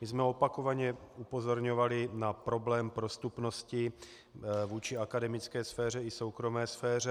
My jsme opakovaně upozorňovali na problém prostupnosti vůči akademické sféře i soukromé sféře.